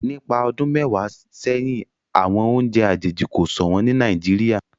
nípa ọdún mẹwàá séhìn àwọn oúnjẹ àjèjì ko ṣọwọn ní Nàìjíríà